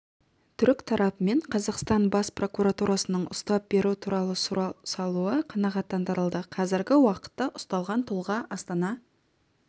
түрік тарапымен қазақстан бас прокуратурасының ұстап беру туралы сұрау салуы қанағаттандырылды қазіргі уақытта ұсталған тұлға астана